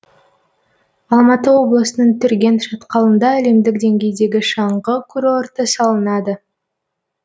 алматы облысының түрген шатқалында әлемдік деңгейдегі шаңғы курорты салынады